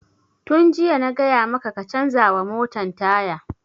Tun jiya na gaya maka ka canza wa motan taya!